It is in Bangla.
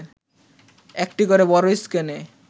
একটি করে বড় স্ক্রিনে